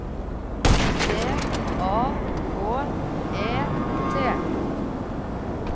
T A K E T